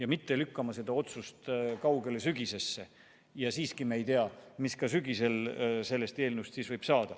Ärme lükkame seda otsust kaugele sügisesse – me ei tea, mis sügisel sellest eelnõust võib saada.